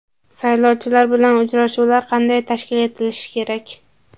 Saylovchilar bilan uchrashuvlar qanday tashkil etilishi kerak?.